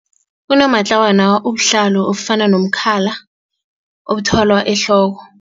Unomatlawana ubuhlalo obufana nomkhala obuthwalwa ehloko.